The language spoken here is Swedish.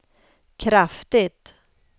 kraftigt